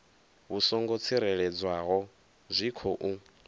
vhu songo tsireledzeaho zwi khou